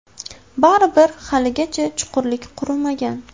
Baribir, haligacha chuqurlik qurimagan.